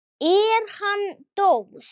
Er hann dós?